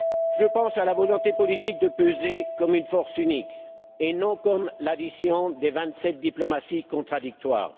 Je pense à la volonté politique de peser comme une force unique, et non comme l'addition de vingt sept diplomaties contradictoires.